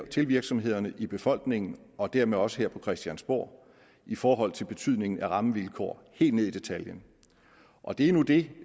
til virksomhederne i befolkningen og dermed også her på christiansborg i forhold til betydningen af rammevilkår helt ned i detaljen og det er nu det